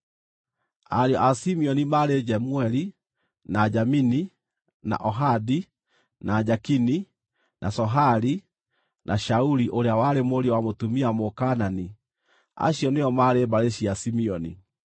Ariũ a Simeoni maarĩ Jemueli, na Jamini, na Ohadi, na Jakini, na Sohari, na Shauli ũrĩa warĩ mũriũ wa mũtumia Mũkaanani. Acio nĩo maarĩ mbarĩ cia Simeoni.